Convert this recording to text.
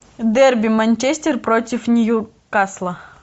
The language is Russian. дерби манчестер против ньюкасла